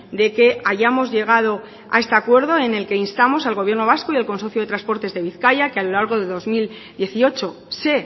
de que hayamos llegado a este acuerdo en el que instamos al gobierno vasco y al consorcio de transportes de bizkaia que a lo largo de dos mil dieciocho se